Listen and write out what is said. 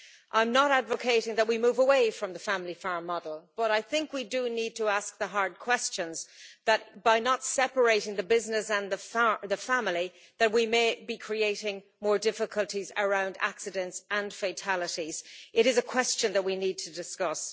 I'm not advocating that we move away from the family farm model, but I think we do need to ask the hard questions that by not separating the business and the family we may be creating more difficulties around accidents and fatalities it is a question that we need to discuss.